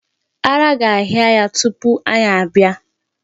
Ara ga-ahịa ya tupu anyị abịa.